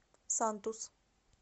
сантус